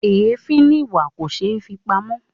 Èéfín ni ìwà; kò ṣeé fi pamọ́.